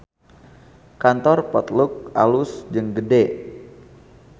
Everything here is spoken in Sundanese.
Kantor Potluck alus jeung gede